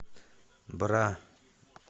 бра